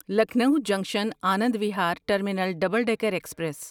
Lucknow junction Anand Vihar terminal double decker express